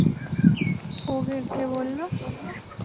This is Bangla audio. ও ওকে কি বলল